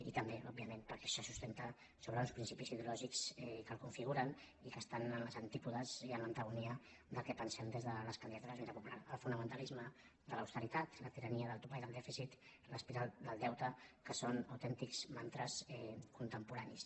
i també òbviament perquè se sustenta sobre uns principis ideològics que el configuren i que estan als antípodes i en l’antagonia del que pensem des de les candidatures d’unitat popular el fonamentalisme de l’austeritat la tirania del topall del dèficit l’espiral del deute que són autèntics mantres contemporanis